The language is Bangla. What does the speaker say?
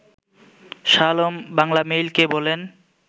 শাহ আলম বাংলামেইলকে বলেন